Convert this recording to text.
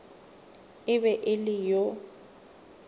e be e le yo